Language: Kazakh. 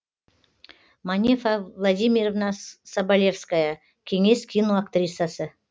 манефа владимировна соболевская кеңес киноактрисасы